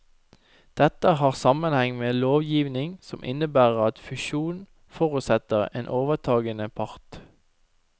Dette har sammenheng med lovgivning som innebærer at fusjon forutsetter en overtagende part.